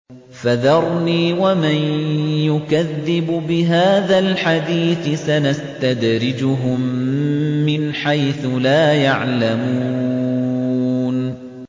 فَذَرْنِي وَمَن يُكَذِّبُ بِهَٰذَا الْحَدِيثِ ۖ سَنَسْتَدْرِجُهُم مِّنْ حَيْثُ لَا يَعْلَمُونَ